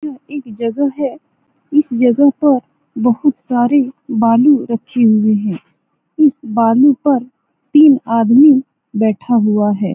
यह एक जगह है । इस जगह पर बहुत सारे बालू रखें हूए हैं । इस बालू पर तीन आदमी बैठा हुआ है ।